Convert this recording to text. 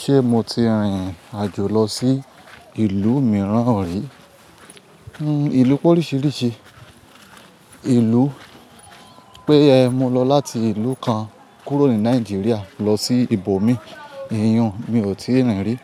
Ṣé mo ti rìrìn àjò lọ sí ìlú mìíràn? Rí, ìlú pé oríṣiríṣi ìlú pé mo lọ láti ìlú kan kúrò ní Nàìjíríà lọ sí ibòmí, ìyin un mi ò tíì rìn rí.